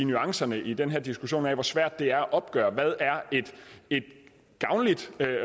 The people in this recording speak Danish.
nuancerne i den her diskussion af hvor svært det er at opgøre hvad et gavnligt